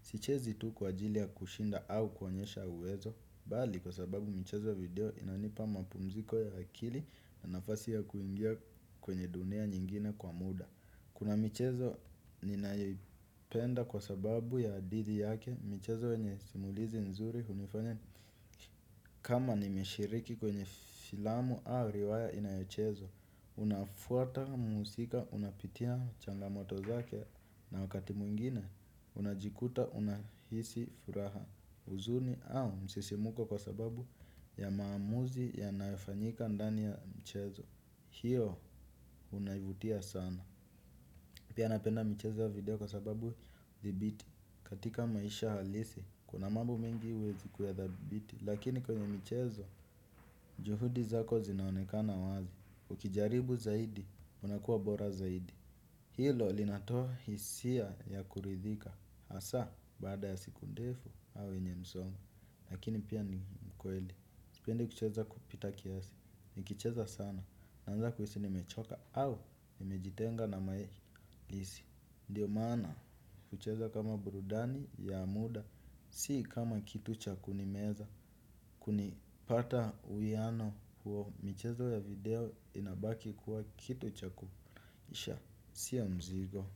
Sichezi tu kwa ajili ya kushinda au kuonyesha uwezo. Bali, kwa sababu michezo ya video inanipa mapumziko ya akili na nafasi ya kuingia kwenye dunia nyingine kwa muda. Kuna michezo, ninayoipenda kwa sababu ya hadithi yake, michezo yenye simulizi nzuri, hunifanya kama nimeshiriki kwenye filamu au riwaya inayochezwa. Unafuata mhusika unapitia changamoto zake na wakati mwingine unajikuta unahisi furaha huzuni au msisimuko kwa sababu ya maamuzi yanayofanyika ndani ya mchezo. Hio unaivutia sana pia napenda mchezo ya video kwa sababu dhibiti katika maisha halisi kuna mambo mengi uwezi kuyadhabiti. Lakini kwenye michezo juhudi zako zinaonekana wazi ukijaribu zaidi unakuwa bora zaidi. Hilo linatoa hisia ya kuridhika hasaa baada ya siku ndefu au yenye msongo lakini pia ni kweli sipendi kucheza kupita kiasi nikicheza sana naanza kuhisi nimechoka au nimejitenga na mae lisi ndiyo maana kucheza kama burudani ya muda. Si kama kitu cha kunimeza, kunipata uiano huo michezo ya video inabaki kuwa kitu chakufurahisha, si ya mzigo.